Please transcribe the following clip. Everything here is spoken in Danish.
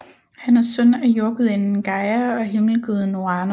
Han er søn af jordgudinden Gaia og himmelguden Uranos